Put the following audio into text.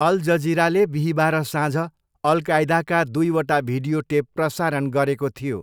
All जजिराले बिहीबार साँझ अल कायदाका दुईवटा भिडियो टेप प्रसारण गरेको थियो।